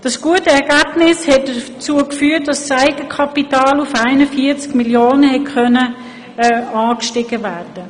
Dieses gute Ergebnis hat dazu geführt, dass das Eigenkapital auf 41 Mio. Franken ansteigen konnte.